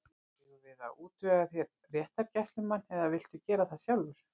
Eigum við að útvega þér réttargæslumann eða viltu gera það sjálfur?